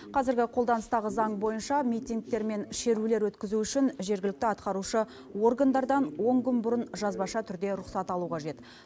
қазіргі қолданыстағы заң бойынша митингтер мен шерулер өткізу үшін жергілікті атқарушы органдардан он күн бұрын жазбаша түрде рұқсат алу қажет